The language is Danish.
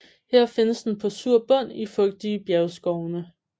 Her findes den på sur bund i fugtige bjergskovene